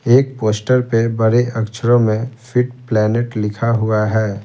एक पोस्टर पे बड़े अक्षरों में फिट प्लैनेट लिखा हुआ है।